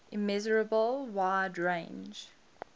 immeasurable wide range